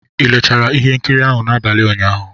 Ị leechara ihe nkiri ahụ n'abalị ụnyaahụ?